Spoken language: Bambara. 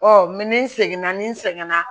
ni n seginna ni n sɛgɛn na